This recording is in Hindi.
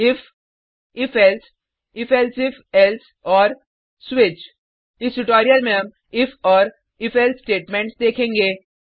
if if else if elsif else और स्विच इस ट्यूटोरियल में हम इफ और if एल्से स्टेटमेंट्स देखेंगे